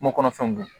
Kungo kɔnɔfɛnw don